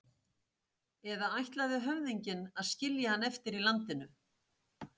Eða ætlaði höfðinginn að skilja hann eftir í landinu?